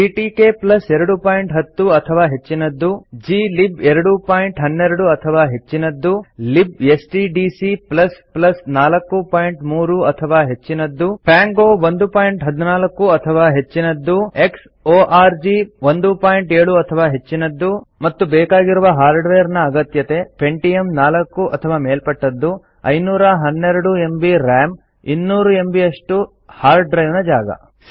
GTK 210 ಅಥವಾ ಹೆಚ್ಚಿನದ್ದು GLib 212 ಅಥವಾ ಹೆಚ್ಚಿನದ್ದು libstdc 43 ಅಥವಾ ಹೆಚ್ಚಿನದ್ದು ಪಾಂಗೊ 114 ಅಥವಾ ಹೆಚ್ಚಿನದ್ದು xಒರ್ಗ್ 17 ಅಥವಾ ಹೆಚ್ಚಿನದ್ದು ಮತ್ತು ಬೇಕಾಗಿರುವ ಹಾರ್ಡ್ವೇರ್ ನ ಅಗತ್ಯತೆ ಪೆಂಟಿಯಂ ೪ ಅಥವಾ ಮೇಲ್ಪಟ್ಟದ್ದು ೫೧೨ ಎಮ್ಬಿ ರಾಮ್ ೨೦೦ ಎಮ್ಬಿಯಷ್ಟು ಹಾರ್ಡ್ಡ್ರೈವ್ ನ ಜಾಗ